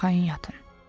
Arxayın yatın.